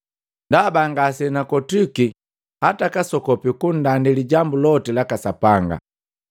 Ndaba ngasenakotwiki hata kasokopi kundandi lijambu loti laka Sapanga.